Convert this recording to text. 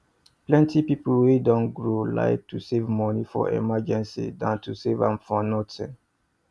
plenty people wey don grow like to save money for emergency than to save am for nothing